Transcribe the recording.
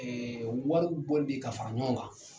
wariw bɔli de ye ka fara ɲɔgɔn kan.